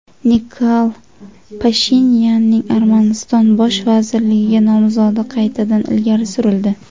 Nikol Pashinyanning Armaniston bosh vazirligiga nomzodi qaytadan ilgari surildi.